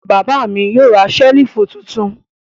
Bàbá mi yóò ra ṣẹ́lífù tuntun.